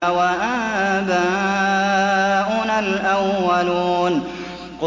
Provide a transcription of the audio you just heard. أَوَآبَاؤُنَا الْأَوَّلُونَ